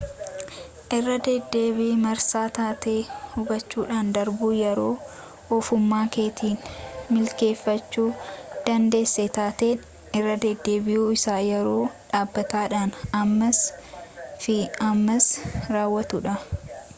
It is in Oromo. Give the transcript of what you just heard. irradeddeebii marsaa taatee hubachuudhaan darbuu yeroo ofuma keetiin milikkiteeffachuu dandeessa taateen irradeddeebi'u isa yeroo dhaabbataadhaan ammas fi ammas raawwatudha